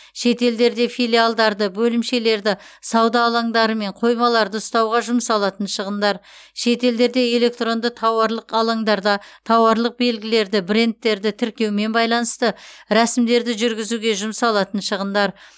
шетелдерде филиалдарды бөлімшелерді сауда алаңдары мен қоймаларды ұстауға жұмсалатын шығындар шетелдерде электронды тауарлық алаңдарда тауарлық белгілерді брендтерді тіркеумен байланысты рәсімдерді жүргізуге жұмсалатын шығындар